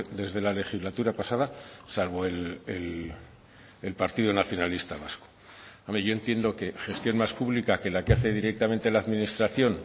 desde la legislatura pasada salvo el partido nacionalista vasco yo entiendo que gestión más pública que la que hace directamente la administración